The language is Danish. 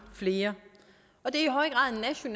flere og det